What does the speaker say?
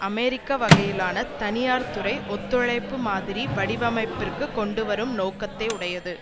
அமெரிக்க வகையிலான தனியார் துறை ஒத்துழைப்பு மாதிரி வடிவமைப்பிற்கு கொண்டுவரும் நோக்கத்தை உடையது